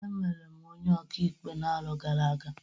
Emere m onye ọka ikpe n'arọ gara aga.